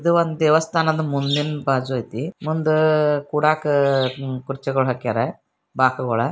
ಇದು ಒಂದು ದೇವಸ್ಥಾನದ ಮುಂದಿನ ಬಾಜು ಐತೆ ಮುಂದ ಕೊಡಕ್ಕೆ ಕುರ್ಚಿಗಳನ್ನ ಹಾಕ್ಯಾರ. ಬಾಕುಗಳ--